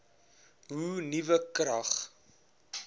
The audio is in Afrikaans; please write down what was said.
hoe nuwe krag